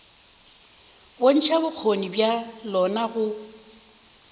bontšha bokgoni bja lona go